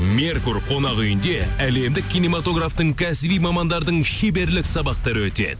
меркур қонақ үйінде әлемдік киноматографтың кәсіби мамандардың шеберлік сабақтары өтеді